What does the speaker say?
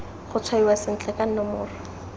go tshwaiwa sentle ka nomoro